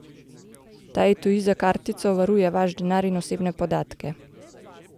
Ta etui za kartico varuje vaš denar in osebne podatke.